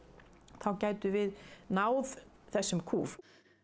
þá gætum við náð þessum kúf